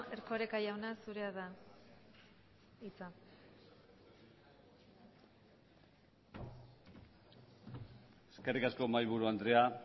erkoreka jauna zurea da hitza eskerrik asko mahaiburu andrea